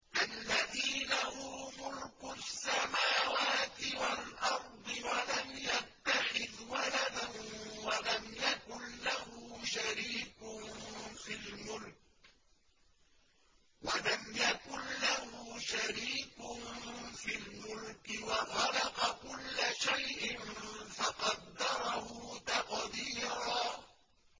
الَّذِي لَهُ مُلْكُ السَّمَاوَاتِ وَالْأَرْضِ وَلَمْ يَتَّخِذْ وَلَدًا وَلَمْ يَكُن لَّهُ شَرِيكٌ فِي الْمُلْكِ وَخَلَقَ كُلَّ شَيْءٍ فَقَدَّرَهُ تَقْدِيرًا